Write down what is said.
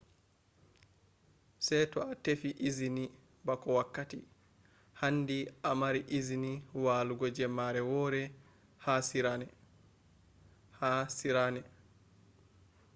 se to a tefi izini bako wakkati. handi a mari izini walugo jemmare wore ha sirena